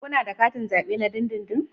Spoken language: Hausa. Kuna da katin zabe na dindindin?